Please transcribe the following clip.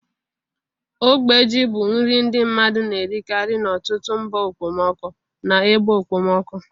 Ogbe ji bụ nri ndi mmadu na-erikari n'ọtụtụ mba okpomọkụ na ebe okpomọkụ.